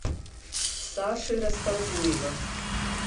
саши расторгуева